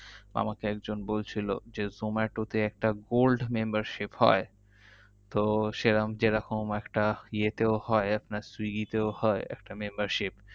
আমাকে একজন বলছিলো যে zomato তে একটা gold membership হয়। তো সেরম যেরকম একটা ইয়েতেও হয় আপনার সুইগি তেও হয় একটা membership